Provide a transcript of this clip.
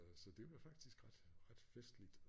Så det var faktisk ret ret festligt